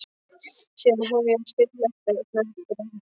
Síðan hefjast fyrirlestrar, einn af öðrum.